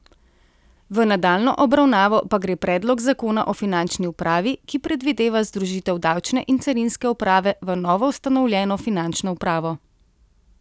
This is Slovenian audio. V nadaljnjo obravnavo pa gre predlog zakona o finančni upravi, ki predvideva združitev davčne in carinske uprave v novoustanovljeno finančno upravo.